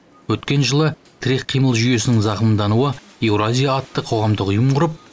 өткен жылы тірек қимыл жүйесінің зақымдануы еуразия атты қоғамдық ұйым құрып